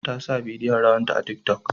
Ta sa bidiyon rawanta a tiki tok